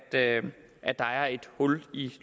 hul i